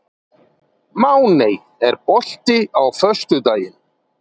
Máney, er bolti á föstudaginn?